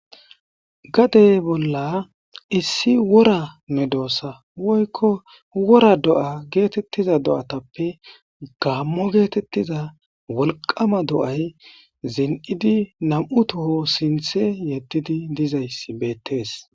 gadey bolla issi wora medoossa woykko wora do'a geetettiza do'atappe gammo geetettiza wolqama do'ay zen'idi nam'u toho sinthe yeddidi dizayss beettees